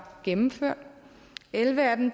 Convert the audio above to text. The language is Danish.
gennemført elleve af dem